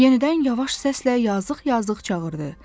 Yenidən yavaş səslə yazıq-yazıq çağırdı.